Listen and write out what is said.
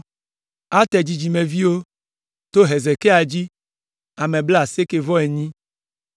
Ater dzidzimeviwo, to Hezekia dzi, ame blaasieke-vɔ-enyi (98).